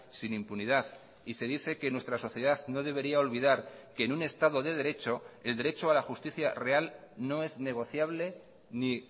sin impunidad y se dice que nuestra sociedad no debería olvidar que en un estado de derecho el derecho a la justicia real no es negociable ni